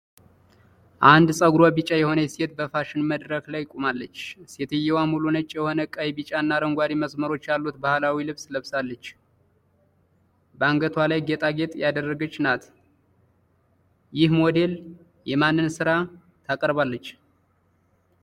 አንድ ፀጉሯ ቢጫ የሆነች ሴት በፋሽን መድረክ ላይ ቆማለች። ሴትየዋ ሙሉ ነጭ የሆነ፣ ቀይ፣ ቢጫና አረንጓዴ መስመሮች ያሉት ባህላዊ ልብስ ለብሳለች። በአንገቷ ላይ ጌጣጌጥ ያደረገች ናት፡፡ ይህ ሞዴል የማንንም ሥራ ታቀርባለች?